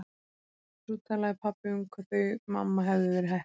Og svo talaði pabbi um hvað þau mamma hefðu verið heppin!